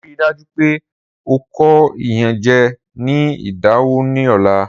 Rii daju pe o ko iyanjẹ ni idanwo ni ọla!